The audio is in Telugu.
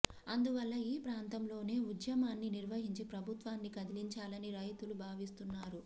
అందువల్ల ఈ ప్రాంతంలోనే ఉద్యమాన్ని నిర్వహించి ప్రభుత్వాన్ని కదిలించాలని రైతులు భావిస్తున్నారు